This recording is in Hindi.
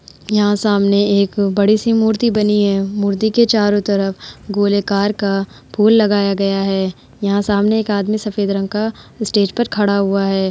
यहाँ सामने एक बड़ी-सी मूर्ति बनी है। मूर्ति के चारों तरफ गोलेकार का फूल लगाया गया है। यहां सामने एक आदमी सफेद रंग का स्टेज पर खड़ा हुआ है।